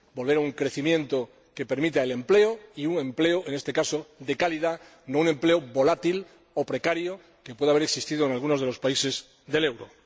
volver a un crecimiento que permita el empleo y un empleo, en este caso, de calidad, no un empleo volátil o precario que puede haber existido en alguno de los países del euro.